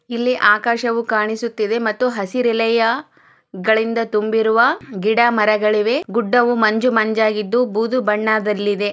ಇಲ್ಲಿ ಆಕಾಶವು ಕಾಣಿಸುತ್ತಿದೆ ಹಸಿರೆಲೆಗಳಿಂದ ತುಂಬಿರುವ ಗಿಡ ಮರಗಳಿವೆ ಗುಡ್ಡವು ಮಂಜು ಮಂಜಾಗಿದ್ದು ಬೂದು ಬಣ್ಣದಲ್ಲಿದೆ.